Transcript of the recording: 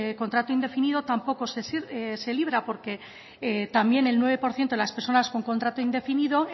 contrato indefinido tampoco se libra porque también el nueve por ciento de las personas con contrato indefinido